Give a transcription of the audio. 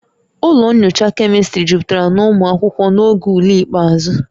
Ụlọ nyocha chemistry jupụtara na ụmụ akwụkwọ n'oge ule ikpeazụ